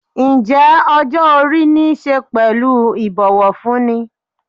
Ǹjẹ́ ọjọ́-orí niṣe pẹ̀lú ibowofunni?